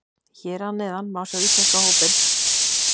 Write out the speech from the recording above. Hér að neðan má sjá íslenska hópinn.